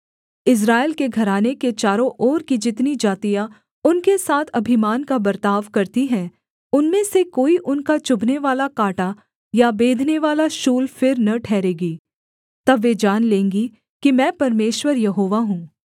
इस्राएल के घराने के चारों ओर की जितनी जातियाँ उनके साथ अभिमान का बर्ताव करती हैं उनमें से कोई उनका चुभनेवाला काँटा या बेधनेवाला शूल फिर न ठहरेगी तब वे जान लेंगी कि मैं परमेश्वर यहोवा हूँ